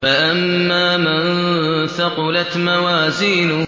فَأَمَّا مَن ثَقُلَتْ مَوَازِينُهُ